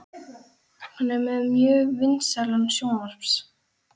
Hann er með mjög vinsælan sjónvarps